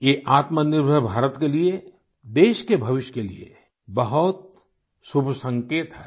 ये आत्मनिर्भर भारत के लिए देश के भविष्य के लिए बहुत ही शुभ संकेत है